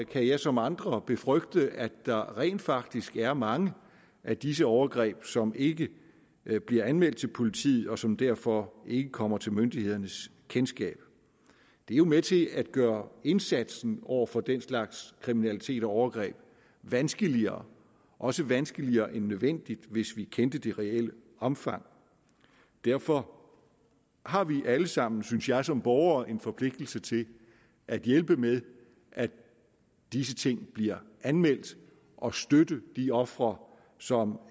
kan jeg som andre befrygte at der rent faktisk er mange af disse overgreb som ikke bliver anmeldt til politiet og som derfor ikke kommer til myndighedernes kendskab det er jo med til at gøre indsatsen over for den slags kriminalitet og overgreb vanskeligere også vanskeligere end nødvendigt hvis vi kendte det reelle omfang derfor har vi alle sammen synes jeg som borgere en forpligtelse til at hjælpe med at disse ting bliver anmeldt og støtte de ofre som